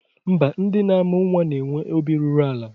Mba, ndị na-amụ nnwa na-enwe obi ruru ala